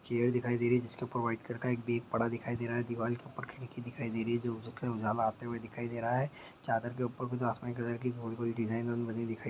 chair दिखाई दे रही है जिसके ऊपर एक व्हाइट कलर का बैग पड़ा दिखाई दे रहा है दीवाल के ऊपर खिड़की दिखाई दे रही है जो हो सकता है उजाला आते हुए दिखाई दे रहा है चादर के ऊपर कुछ आसमानी कलर की गोल-गोल डिजाइन बन बनी हुई दिखाई दे--